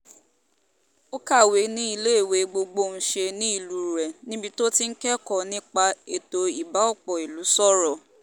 ó kàwé ní iléèwé gbọgbọ́nsẹ̀ nílùú ire níbi tó ti kẹ́kọ̀ọ́ nípa ètò ibà ọ̀pọ̀ ìlú sọ̀rọ̀